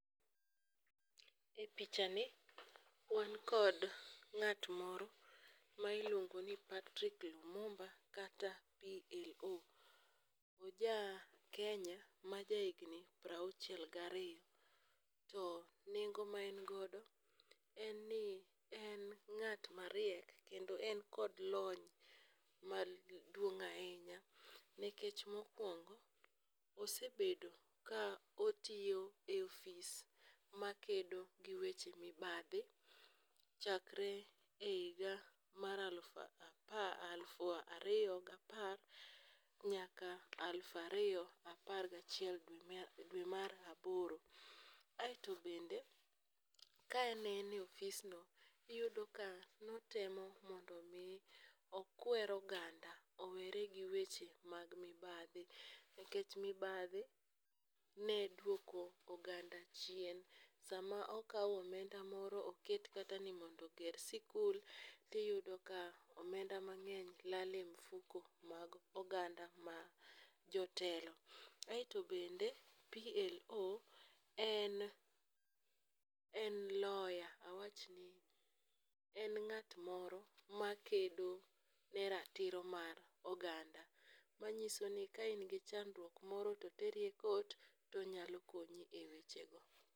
E pichani, wan kod ng'at moro ma iluongo ni Patrick Lumumba kata PLO. Oja Kenya ma jahigni prauchiel gariyo, to nengo ma en godo, en ni en ng'at mariek kendo en kod lony maduong' ahinya nikech mokwongo, osebedo ka otiyo e ofis makedo gi weche mibathi, chakre e higa mar aluf ariyo gapar, nyaka aluf ariyo apar gachiel dwe mar aboro. Aeto bende, ka aneno e ofisno, iyudo ka notemo mondo omi okwer oganda owere gi weche mag mibadhi nikech mibadhi ne dwoko oganda chein. sama okaw omenda moro oket kata ni mondo oger sikul, tiyudo ka omenda mang'eny lal e mfuko mag oganda ma jotelo. Aeto bende PLO en lawyer. En ng'at moro makedo ne ratiro mar oganda. Manyiso ni ka in chandruok moro to oteri e court tonyalo konyi e weche go.